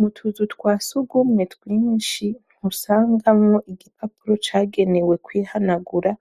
Mu tuzu twa sugumwe twinshi ntusagamwo igipapuro cagenewe kwihanagura